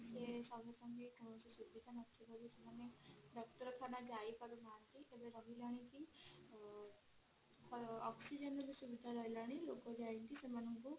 ଡାକ୍ତରଖାନା ଯାଇପାରୁନାହନ୍ତି oxygenର ସୁବିଧା ରହିଲାଣି lok ଯାଇକି ସେମାନଙ୍କୁ